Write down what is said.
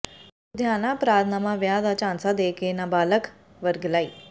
ਲੁਧਿਆਣਾ ਅਪਰਾਧਨਾਮਾ ਵਿਆਹ ਦਾ ਝਾਂਸਾ ਦੇ ਕੇ ਨਾਬਾਲਗ ਵਰਗਲਾਈ